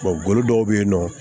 golo dɔw be yen nɔ